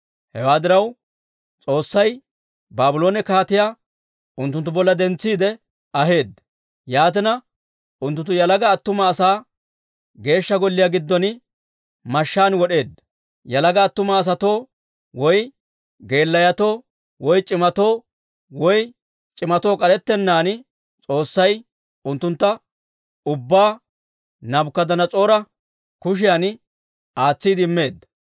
Hewaa diraw, S'oossay Baabloone kaatiyaa unttunttu bolla dentsiide aheedda. Yaatina unttunttu yalaga attuma asaa Geeshsha Golliyaa giddon mashshaan wod'eedda; yalaga attuma asatoo, woy geelayotoo, woy c'imatoo, k'arettennaan, S'oossay unttuntta ubbaa Naabukadanas'oora kushiyan aatsiide immeedda.